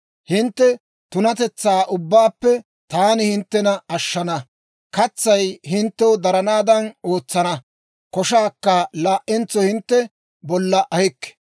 Hintte tunatetsaa ubbaappe taani hinttena ashshana; katsay hinttew daranaadan ootsana; koshaakka laa"entso hintte bolla ahikke.